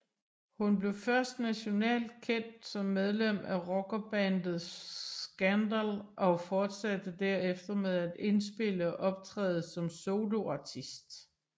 Hun blev først nationalt kendt som medlem af rockbandet Scandal og fortsatte derefter med at indspille og optræde som soloartist